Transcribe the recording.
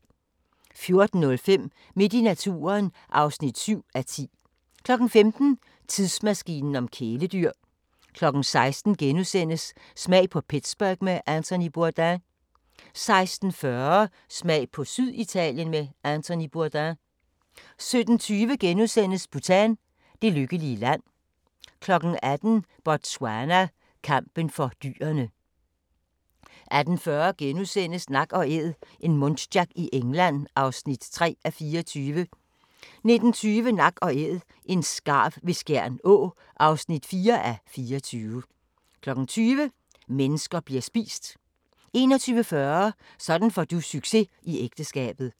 14:05: Midt i naturen (7:10) 15:00: Tidsmaskinen om kæledyr 16:00: Smag på Pittsburgh med Anthony Bourdain * 16:40: Smag på Syditalien med Anthony Bourdain 17:20: Bhutan: Det lykkelige land * 18:00: Botswana: Kampen for dyrene 18:40: Nak & æd - en muntjac i England (3:24)* 19:20: Nak & Æd – en skarv ved Skjern Å (4:24) 20:00: Mennesker bliver spist 21:40: Sådan får du succes i ægteskabet